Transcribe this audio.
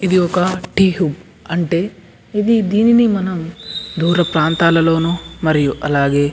ఇది ఒక టీ హుబ అంటే దీనిని మనం దూరం ప్రాంతాలలోను మరియు అలాగే --